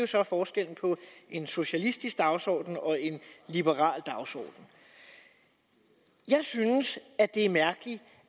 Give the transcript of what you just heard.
så forskellen på en socialistisk dagsorden og en liberal dagsorden jeg synes det er mærkeligt